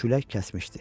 Külək kəsmişdi.